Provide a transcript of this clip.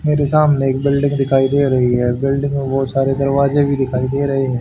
मेरे सामने एक बिल्डिंग दिखाई दे रही है बिल्डिंग में बहोत सारे दरवाजे भी दिखाई दे रहे हैं।